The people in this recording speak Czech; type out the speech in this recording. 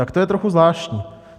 Tak to je trochu zvláštní.